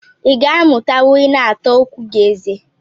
I ga amutanwu ina ata okwu gi eze